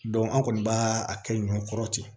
an kɔni b'a a kɛ ɲɔn kɔrɔ ten